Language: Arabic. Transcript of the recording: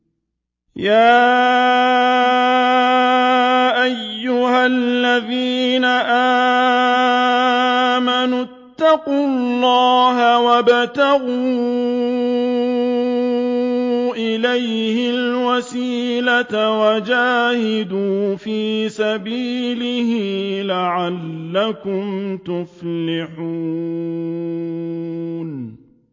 يَا أَيُّهَا الَّذِينَ آمَنُوا اتَّقُوا اللَّهَ وَابْتَغُوا إِلَيْهِ الْوَسِيلَةَ وَجَاهِدُوا فِي سَبِيلِهِ لَعَلَّكُمْ تُفْلِحُونَ